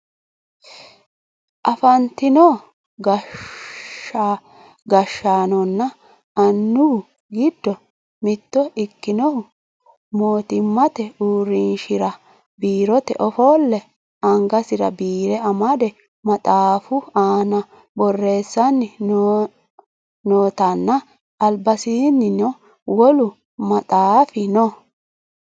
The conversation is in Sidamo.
afantino gashshaanonna annuwu giddo mitto ikkinohu mootimmate uurrinshara biirote ofolle angasira biire amade maxaafu aana borreessanni nootanna albasiinnino wolu maxaafi no